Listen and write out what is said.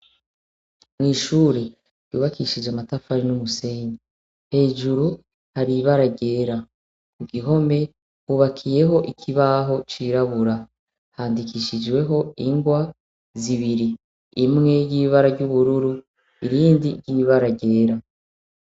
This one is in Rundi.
Mw'ishure ryubakishijwe amatafari n'umusenyi hejuru hari ibara ryera mugihome hubakiyeho ikibaho c'irabura handikishijweho ingwa zibiri imwe iyibara ry'ubururu irindi ry'ibara ryera